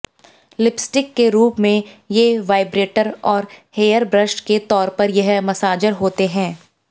lipstick के रूप में ये वाइब्रेटर और हेयरब्रश के तौर पर यह मसाजर होते हैं